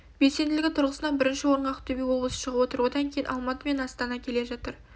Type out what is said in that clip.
белсенділігі тұрғысынан бірінші орынға ақтөбе облысы шығып отыр одан кейін алматы мен астана келе жатыр